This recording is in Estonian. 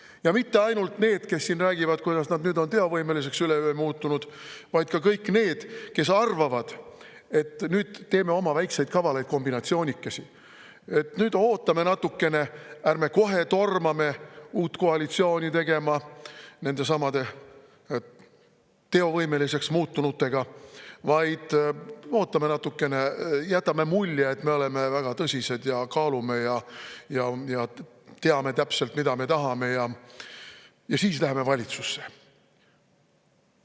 Ja mitte ainult need, kes siin räägivad, kuidas nad nüüd üleöö on teovõimeliseks muutunud, vaid ka kõik need, kes arvavad, et nüüd teeme oma väikeseid kavalaid kombinatsioonikesi, nüüd ootame natukene, ärme kohe tormame uut koalitsiooni tegema nendesamade teovõimeliseks muutunutega, vaid ootame natukene, jätame mulje, et me oleme väga tõsised ja kaalume ja teame täpselt, mida me tahame, ja siis läheme valitsusse.